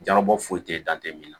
Jarabɔ foyi te dan te min na